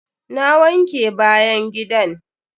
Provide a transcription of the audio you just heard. Na wanke bayan gidan.